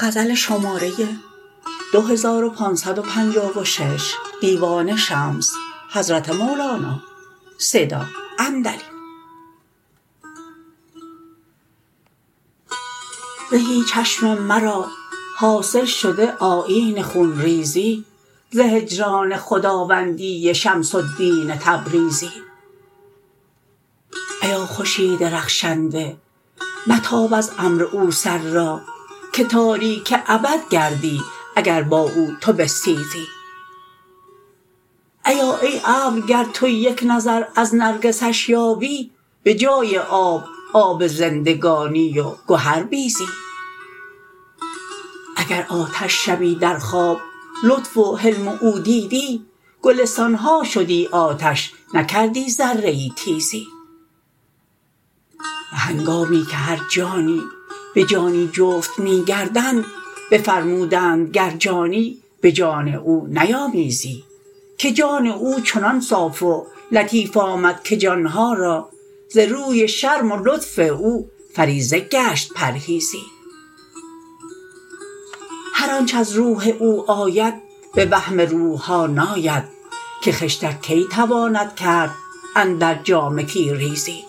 زهی چشم مرا حاصل شده آیین خون ریزی ز هجران خداوندی شمس الدین تبریزی ایا خورشید رخشنده متاب از امر او سر را که تاریک ابد گردی اگر با او تو بستیزی ایا ای ابر گر تو یک نظر از نرگسش یابی به جای آب آب زندگانی و گهربیزی اگر آتش شبی در خواب لطف و حلم او دیدی گلستان ها شدی آتش نکردی ذره ای تیزی به هنگامی که هر جانی به جانی جفت می گردند بفرمودند گر جانی به جان او نیامیزی که جان او چنان صاف و لطیف آمد که جان ها را ز روی شرم و لطف او فریضه گشت پرهیزی هر آنچ از روح او آید به وهم روح ها ناید که خشتک کی تواند کرد اندر جامه تیریزی